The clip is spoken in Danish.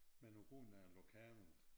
Men på grund af lokalet